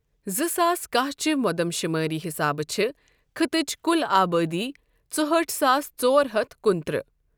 زٕ ساس کہہ چہِ مودم شٗمٲری حِسابہٕ چھے خٕطٕچ كٗل آبٲ دی ژُہٲٹھ ساس ژور ہتھ کُنہٕ ترٕہ ۔